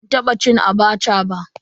Ban taba cin "Abacha" ba.